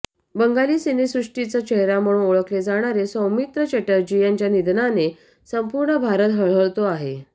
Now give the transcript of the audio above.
बंगाली सिनेसृष्टीचा चेहरा म्हणून ओळखले जाणारे सौमित्र चटर्जी यांच्या निधनाने संपूर्ण भारत हळहळतो आहे